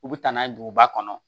U bɛ taa n'a ye duguba kɔnɔ